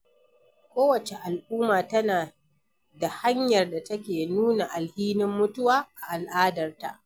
Ko wacce al'umma tana da hanyar da take nuna alhinin mutuwa a al'adar ta.